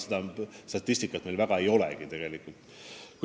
Seda statistikat meil väga ei olegi.